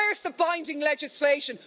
Where's the binding legislation?